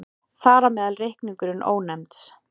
Þar á meðal reikningurinn Ónefnds.